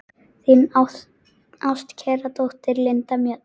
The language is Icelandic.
Þín ástkæra dóttir, Linda Mjöll.